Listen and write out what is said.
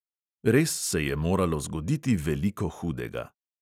Res se je moralo zgoditi veliko hudega.